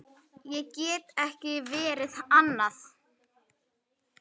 Ég get ekki verið annað.